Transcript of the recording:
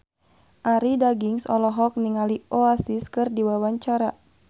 Arie Daginks olohok ningali Oasis keur diwawancara